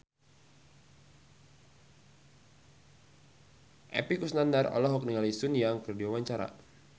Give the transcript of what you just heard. Epy Kusnandar olohok ningali Sun Yang keur diwawancara